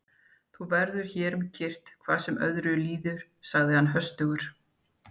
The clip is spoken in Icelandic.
Þú verður hér um kyrrt hvað sem öðru líður, sagði hann höstugur.